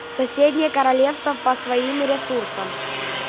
соседние королевства по своим ресурсам